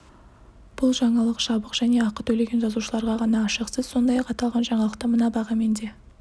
бұл жаңалық жабық және ақы төлеген жазылушыларға ғана ашық сіз сондай-ақ аталған жаңалықты мына бағамен де